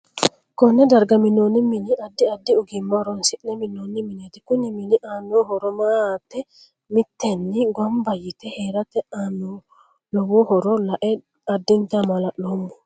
Konne darga minooni mini addi addi ogiimma horoonsine minooni mineetei kuni mini aano horo maate miteeni ganbba yite heerate aano lowo horo la'e addinta maa'laloomo